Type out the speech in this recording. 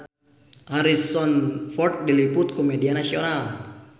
Harrison Ford diliput ku media nasional